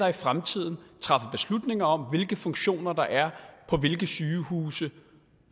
i fremtiden træffer beslutninger om hvilke funktioner der er på hvilke sygehuse